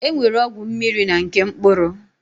E nwere ọgwụ mmiri na nke mkpụrụ.